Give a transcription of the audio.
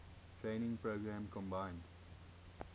training program combined